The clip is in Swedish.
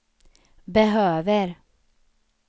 behöver